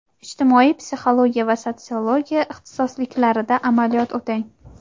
ijtimoiy psixologiya va sotsiologiya ixtisosliklarida amaliyot o‘tang.